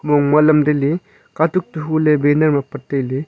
mong ma lam tai le katuk to hule banner ma pat tai ley.